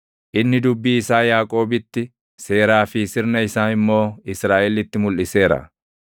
Inni dubbii isaa Yaaqoobitti, seeraa fi sirna isaa immoo Israaʼelitti mulʼiseera.